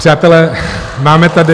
Přátelé, máme tady...